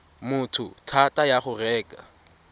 motho thata ya go reka